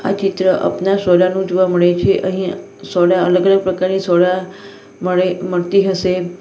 આ ચિત્ર અપના સોડા નું જોવા મળે છે અહીં સોડા અલગ અલગ પ્રકારની સોડા મળે મળતી હશે.